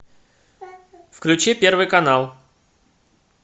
включи первый канал